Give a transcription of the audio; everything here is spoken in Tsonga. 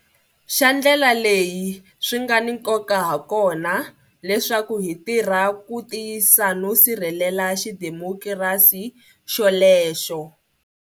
Xa ndlela leyi swi nga ni nkoka hakona leswaku hi tirha ku tiyisa no sirhelela xidemokirasi xolexo.